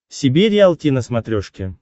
себе риалти на смотрешке